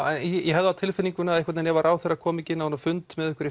ég hef það á tilfinningunni að ef ráðherrar komi ekki inn á þennan fund með ykkur í